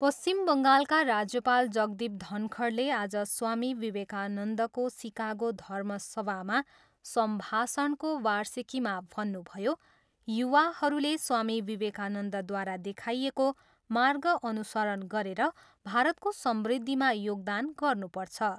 पश्चिम बङ्गालका राज्यपाल जगदीप धनखडले आज स्वामी विवेकानन्दको सिकागो धर्मसभामा सम्भाषणको वार्षिकीमा भन्नुभयो, युवाहरूले स्वामी विवेकानन्दद्वारा देखाइएको मार्ग अनुसरण गरेर भारतको समृद्धिमा योगदान गर्नुपर्छ।